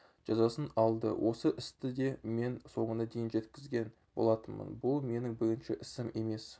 жазасын алды осы істі де мен соңына дейін жеткізген болатынмын бұл менің бірінші ісім емес